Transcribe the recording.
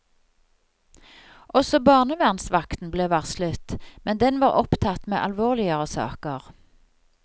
Også barnevernsvakten ble varslet, men den var opptatt med alvorligere saker.